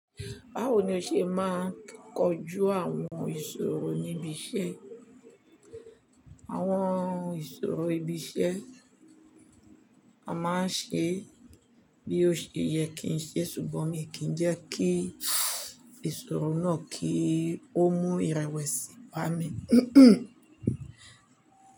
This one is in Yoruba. Báwo ni o ṣe máa ń kojú àwọn ìṣòro níbi iṣẹ́? Àwọn ìṣòro ibi iṣẹ́ a máa ń ṣe bí ó ṣe yẹ kí n ṣe, ṣùgbọ́n mi kì í jẹ́ kí ìṣòro náà kí ó mú ìrewesí bá mi.